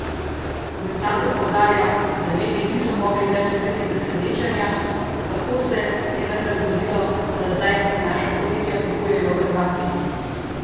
Komentator poudarja, da mediji niso mogli več skriti presenečenja, kako se je vendar zgodilo, da zdaj naša podjetja kupujejo Hrvati?